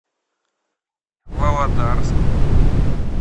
володарск